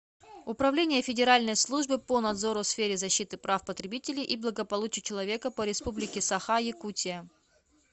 управление федеральной службы по надзору в сфере защиты прав потребителей и благополучия человека по республике саха якутия